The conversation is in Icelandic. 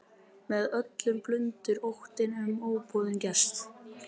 Með öllum blundar óttinn um óboðinn gest.